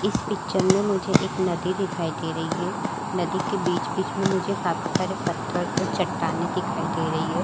इस पिक्चर में मुझे एक नदी दिखाई दे रही है नदी के बीच-बीच में मुझे काफी सारे पत्थर और चट्टाने दिखाई दे रही है।